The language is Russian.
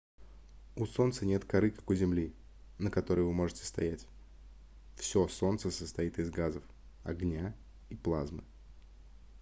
у солнца нет коры как у земли на которой вы можете стоять всё солнце состоит из газов огня и плазмы